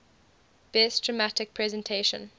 best dramatic presentation